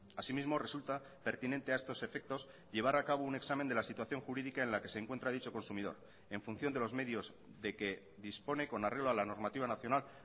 así mismo resulta pertinente a estos efectos llevar a cabo un examen de la situación jurídica en la que se encuentra dicho consumidor en función de los medios de que dispone con arreglo a la normativa nacional